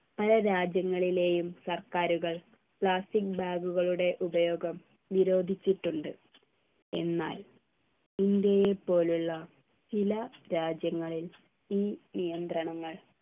പല രാജ്യങ്ങളിലെയും സർക്കാരുകൾ plastic bag കളുടെ ഉപയോഗം നിരോധിച്ചിട്ടുണ്ട് എന്നാൽ ഇന്ത്യയെ പോലുള്ള ചില രാജ്യങ്ങളിൽ ഈ നിയന്ത്രണങ്ങൾ